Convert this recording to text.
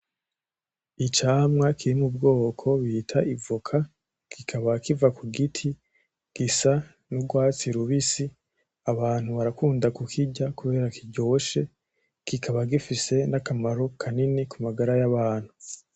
Icamwa kiri m'ubwoko bita ivoka, kikaba kiva kugiti, gisa n'urwatsi rubisi, abantu barakunda kukirya kubera kiryoshe, kikaba gifise akamaro kanini kumagara y'abantu.